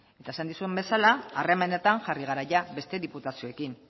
eta esan dizuedan bezala harremanetan jarri gara beste diputazioekin